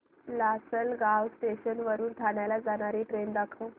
Lasalgaon station वरून ठाण्याला जाणारी ट्रेन दाखव